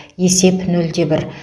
есеп нөл де бір